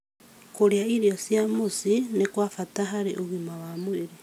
Kũrĩa irio cia mũciĩ nĩ kwa bata harĩ ũgima wa mwĩrĩ.